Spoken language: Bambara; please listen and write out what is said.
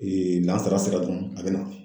lansara sera dɔrɔn a bɛ na.